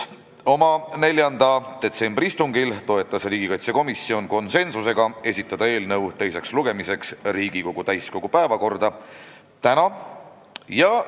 Oma 4. detsembri istungil toetas riigikaitsekomisjon konsensusega ettepanekut esitada eelnõu teiseks lugemiseks täiskogu päevakorda tänaseks.